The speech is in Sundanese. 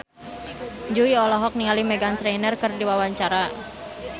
Jui olohok ningali Meghan Trainor keur diwawancara